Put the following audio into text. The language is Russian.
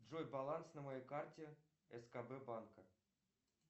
джой баланс на моей карте скб банка